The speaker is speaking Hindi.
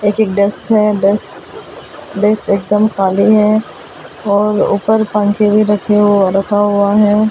एक डिस्क है डिस्क डिस्क एकदम खाली है और ऊपर पंखे भी रखे हो रखा हुआ है ।